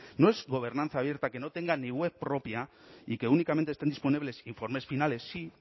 no es gobernanza abierta que no tenga ni web propia y que únicamente estén disponibles informes finales sí